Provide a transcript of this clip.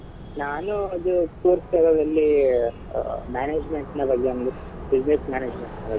ನಾನು ಅದೇ ದಲ್ಲಿ management ನ ಬಗ್ಗೆ ಒಂದು business management ಬಗ್ಗೆ.